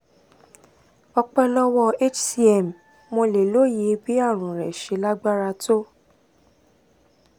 ọpẹ́ lọ́wọ́ hcm mo lè lóye bí àrùn rẹ ṣe lágbára tó